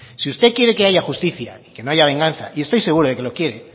si usted quiere que haya justicia y que no haya venganza y estoy seguro de que lo quiere